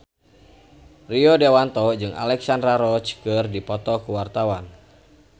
Rio Dewanto jeung Alexandra Roach keur dipoto ku wartawan